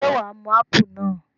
Ṣé wà á mu ápù náà?